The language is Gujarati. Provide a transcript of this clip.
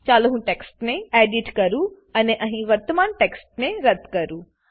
ચાલો હું ટેક્સ્ટને એડિટ કરું અને અહીં વર્તમાન ટેક્સ્ટને રદ્દ કરું